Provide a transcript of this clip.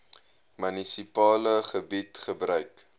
munisipale gebied gebruik